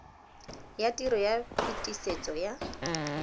ya tiro ya phetisetso ya